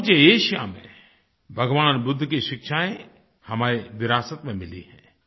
समूचे एशिया में भगवान बुद्ध की शिक्षाएँ हमें विरासत में मिली हैं